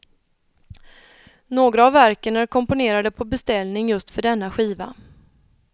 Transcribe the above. Några av verken är komponerade på beställning just för denna skiva.